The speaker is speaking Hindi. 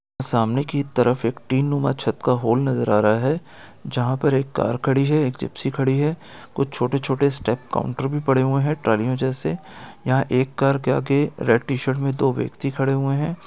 सामने की तरफ एक टीन नुमा छत का हॉल नजर आ रहा है जहाँ पर एक कार खड़ी है एक जिप्सी खड़ी है कुछ छोटे छोटे स्टेप काउंटर भी पड़े हुए है टर्निंग जैसे यहाँ एक कार के आगे रेड टी शर्ट मे दो व्यक्ति खड़े हुए है।